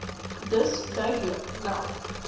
dus duidelik meld